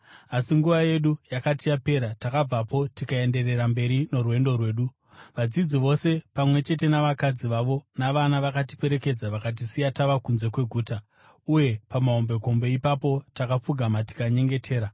Asi nguva yedu yakati yapera, takabvapo tikaenderera mberi norwendo rwedu. Vadzidzi vose pamwe chete navakadzi vavo navana vakatiperekedza vakatisiya tava kunze kweguta, uye pamahombekombe ipapo takapfugama tikanyengetera.